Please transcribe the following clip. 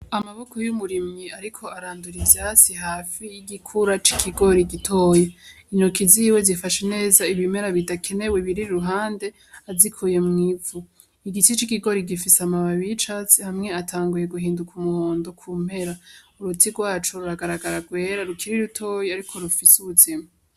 Amaboko y'umurimyi ariko arandura ivyatsi hafi y'igikura c'ikigori gitoya intoki ziwe zifashe neza ibimera bidakenewe biri iruhande azikuye mw’ivu igitsi c'ikigori gifise amababi y'icatsi amwe atanguye guhinduka umuhondo ku mpera uruti rwaco ruragaragara rwera rukiri rutoya ariko rufise ubuzima.